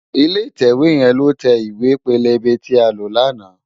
Ilé itèwé yèn ló tè iwé pélébé ti á ló làná